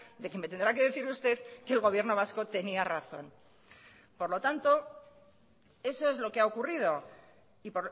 de que me tendrá que decir usted que el gobierno vasco tenía razón por lo tanto eso es lo que ha ocurrido y